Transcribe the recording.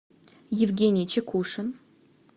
евгений чекушин